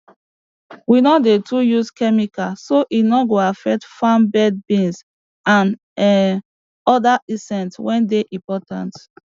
we no dey too use chemical so e no go affect farm birds bees and um oda insects wey dey important